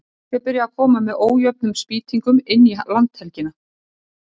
Fólk er byrjað að koma með ójöfnum spýtingum inn í landhelgina.